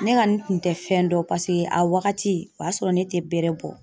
Ne kɔni kun te fɛn dɔn .Paseke a wagati o y'a sɔrɔ ne tɛ bɛrɛ bɔ.